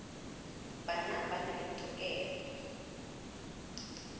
bana ba na le tokelo